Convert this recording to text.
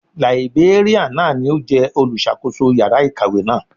Làìbéríàn náà ni ó jẹ́ olùṣàkóso yàrá ìkàwé náà.